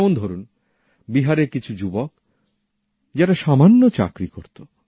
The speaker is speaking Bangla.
যেমন ধরুন বিহারের কিছু যুবক যারা সামান্য চাকরি করত